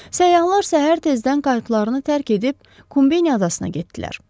Səyyahlar səhər tezdən qayqlarını tərk edib Kombeya adasına getdilər.